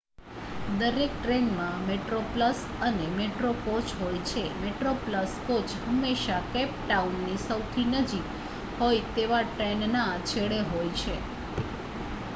દરેક ટ્રેનમાં મેટ્રોપ્લસ અને મેટ્રો કોચ હોય છે મેટ્રોપ્લસ કોચ હંમેશાં કેપ ટાઉનની સૌથી નજીક હોય તેવા ટ્રેનના છેડે હોય છે